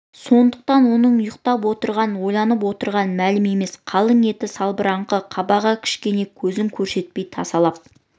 сондықтан оның ұйықтап отырғаны ойланып отырғаны мәлім емес қалың етті салбыраңқы қабағы кішкене көзін көрсетпей тасалап